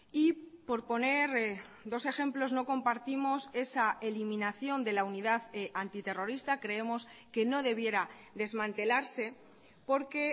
y por poner dos ejemplos no compartimos esa eliminación de la unidad antiterrorista creemos que no debiera desmantelarse porque